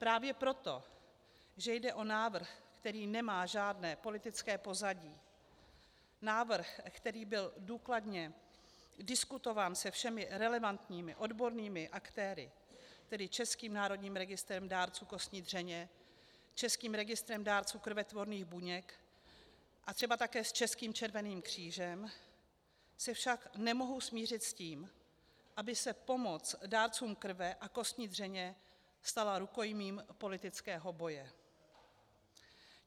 Právě proto, že jde o návrh, který nemá žádné politické pozadí, návrh, který byl důkladně diskutován se všemi relevantními odbornými aktéry, tedy Českým národním registrem dárců kostní dřeně, Českým registrem dárců krvetvorných buněk a třeba také s Českým červeným křížem, se však nemohu smířit s tím, aby se pomoc dárcům krve a kostní dřeně stala rukojmím politického boje.